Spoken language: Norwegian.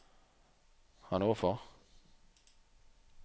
Hannover